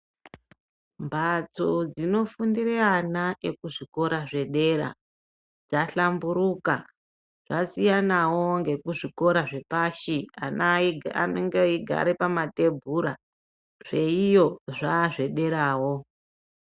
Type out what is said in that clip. Mbatso dzinofundira ana ekuzvikora zvedera dzahlamburuka dzasiyanawo nekuzvikora zvepashi ana anenge aigara pamatebhura zveiyo zvazvederawo.